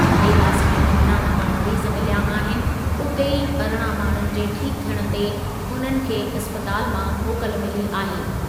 देवास में पंद्रहं नवां मरीज मिलिया आहिनि, उते ई अरिड़हं माण्हुनि जे ठीक थियण ते उन्हनि खे इस्पतालु मां मोकल मिली आहे।